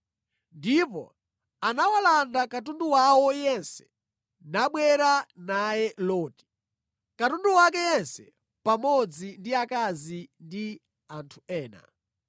Ndipo anawalanda katundu wawo yense nabwera naye Loti, katundu wake yense, pamodzi ndi akazi ndi anthu ena.